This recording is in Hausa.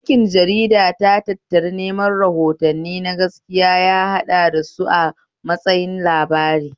Aikin jarida ta tattari neman rahotanni na gaskiya ya yaɗasu a matsayin labarai